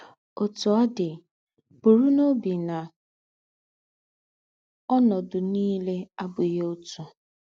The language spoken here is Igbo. Ọ́tú ọ̀ dị̀, bùrù n’óbì ná ọ́nọ́dù nìlè àbùghì ótù.